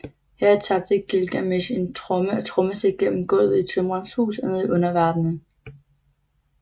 Her tabte Gilgamesh en tromme og trommestikke gennem gulvet i tømrerens hus og ned i underverdenen